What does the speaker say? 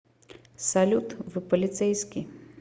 салют вы полицейский